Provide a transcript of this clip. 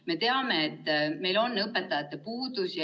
Me teame, et meil on õpetajate puudus.